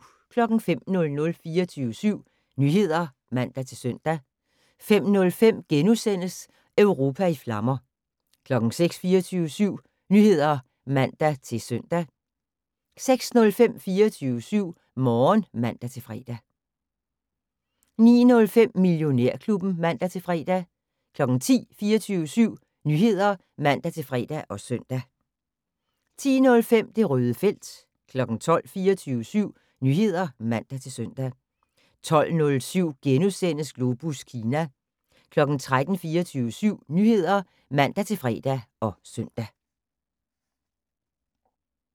05:00: 24syv Nyheder (man-søn) 05:05: Europa i flammer * 06:00: 24syv Nyheder (man-søn) 06:05: 24syv Morgen (man-fre) 09:05: Millionærklubben (man-fre) 10:00: 24syv Nyheder (man-fre og søn) 10:05: Det Røde felt 12:00: 24syv Nyheder (man-søn) 12:07: Globus Kina * 13:00: 24syv Nyheder (man-fre og søn)